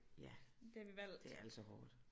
Ja det er altså hårdt